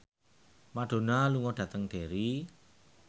Madonna lunga dhateng Derry